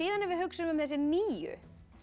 en ef við hugsum um þessi nýju